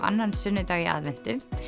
annan sunnudag í aðventu